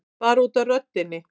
Bara út af röddinni.